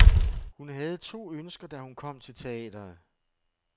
Hun havde to ønsker, da hun kom til teatret.